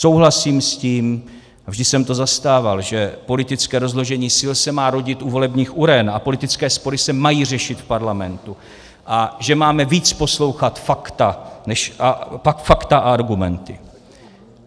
Souhlasím s tím, vždy jsem to zastával, že politické rozložení sil se má rodit u volebních uren a politické spory se mají řešit v parlamentu a že máme víc poslouchat fakta a argumenty.